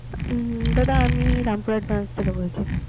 হুম দাদা আমি রামপুরহাট branch থেকে বলছি।